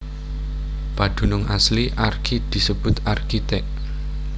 Padunung asli Archi disebut Archite